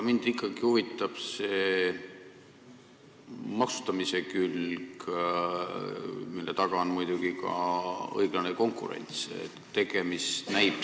Mind ikkagi huvitab maksustamise külg, mille taga on muidugi ka õiglase konkurentsi küsimus.